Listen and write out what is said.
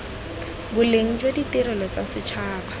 boleng jwa ditirelo tsa setšhaba